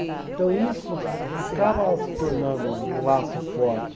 Então isso acaba se tornando um laço forte.